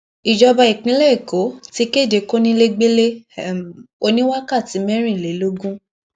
ìjọba ìpínlẹ èkó ti kéde kóńlégbélé um oní wákàtí mẹrìnlélógún